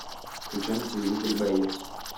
включай на телевизоре боец